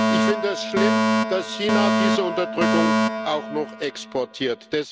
Ich finde es schlimm, dass China diese Unterdrückung auch noch exportiert.